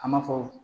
A ma fɔ